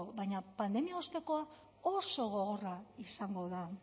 baina pandemia ostekoa oso gogorra izango da